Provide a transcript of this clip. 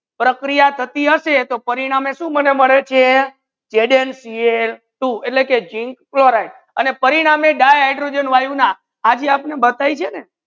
પ્રક્રિયા તથી હસે તો પરિણામે શું મને મળે છે zncl two એટલ કે zinc chloride આને પરિણામે di hydrogen વાયુ ના આજ આપને બતાઈજો છે ને